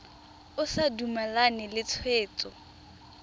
o sa dumalane le tshwetso